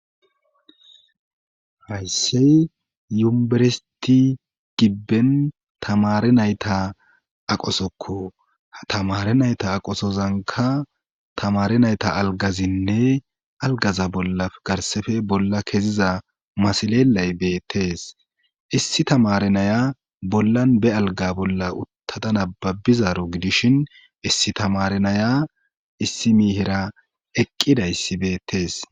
Hayssey yumberesti gibben tamari nayta aqosokku ha tamari nayta aqosozanka tamari nayta algazinne algaza bolla garsefe bolla keziza masilelay beettees issi tamare naya bollan be alga bolla uttada nababbizaro gidishin issi tamare naya issi miihira eqqidayssi beettees